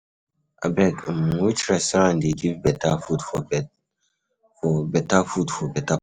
Abeg, which restaurant dey give better food for beta price?